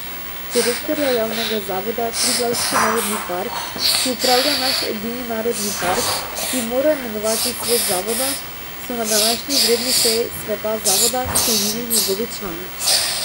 Direktorja javnega zavoda Triglavski narodni park, ki upravlja naš edini narodni park, bi moral imenovati svet zavoda, so na današnji izredni seji sveta zavoda sklenili njegovi člani.